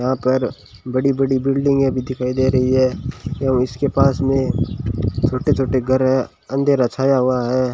यहां पर बड़ी बड़ी बिल्डिंगें भी दिखाई दे रही है एवं इसके पास में छोटे छोटे घर है अंधेरा छाया हुआ है।